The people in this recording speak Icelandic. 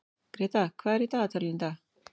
Greta, hvað er í dagatalinu í dag?